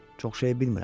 çox şeyi bilmirəm.